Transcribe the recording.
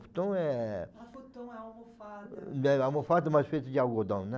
Futon é... Não é funton, é almofada. É almofada, mas feita de algodão, né.